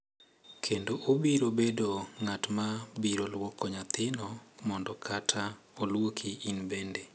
Kendo obiro bedo ng’at ma biro lwoko nyathino mondo kata oluoki in bende,